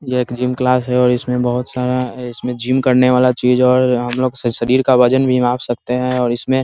ये एक gym class हैऔर इसमें बोहोत सारा इसमे जिम करने वाला चीज और हमलोग से शरीर का वजन भी माप सकते हैऔर इसमें --